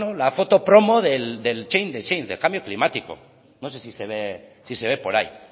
la foto promo del change the change del cambio climático no sé si se ve por ahí